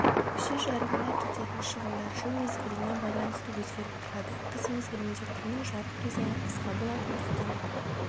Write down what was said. көше жарығына кететін шығындар жыл мезгіліне байланысты өзгеріп тұрады қыс мезгілінде күннің жарық кезеңі қысқа болатындықтан